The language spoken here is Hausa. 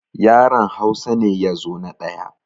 Yaran Hausa ne ya zo na ɗaya